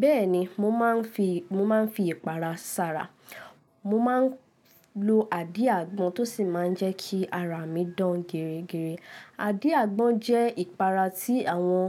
Bẹ́ẹ̀ni mo máa ń fi, mo máa ń fi ìpara sára. Mo ma ń lo àdí àgbọn tó sì máa ń jẹ́ kí ara mi dán gẹ̀rẹ̀gẹ̀rẹ̀. Àdí àgbọn jẹ́ ìpara tí àwọn,